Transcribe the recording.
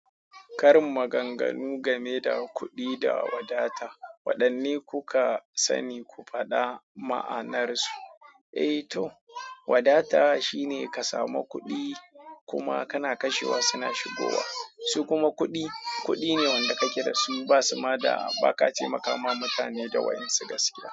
Karin maganganu game da kuɗi da wadata. Waɗanne kuka sani? Ku faɗa ma'anarsu. Eh to, wadata shine ka samu kuɗi kuma kana kashewa suna shigowa, su kuma kuɗi, kuɗi ne wanda kake da su ba su ma da ba ka taimakawa mutane da wa'yen su gaskiya.